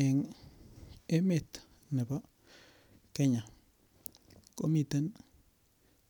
En emetab Kenya komiten